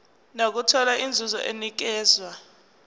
nokuthola inzuzo enikezwa